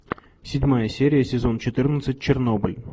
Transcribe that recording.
седьмая серия сезон четырнадцать чернобыль